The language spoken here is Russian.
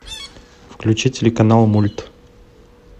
включи телеканал мульт